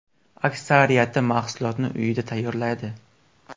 Aksariyati mahsulotni uyida tayyorlaydi.